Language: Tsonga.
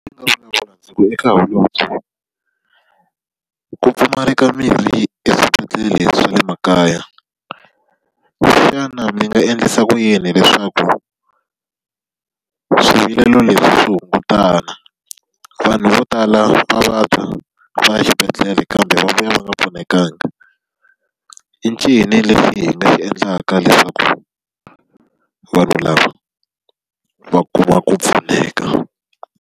ku pfumala ka mirhi eswibedhlele swa le makaya, xana mi nga endlisa ku yini leswaku swivilelo leswi hungutana? Vanhu vo tala va vabya, va ya xibedhlele kambe va vuya va nga pfunekanga. i ncini lexi hi nga xi endlaka leswaku vanhu lava va kuma ku pfuneka?